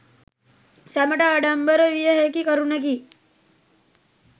සැමට ආඩම්බර විය හැකි කරුණකි